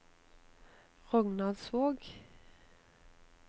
Rognaldsvåg